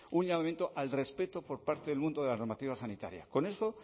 un llamamiento al respeto por parte del mundo de la normativa sanitaria con eso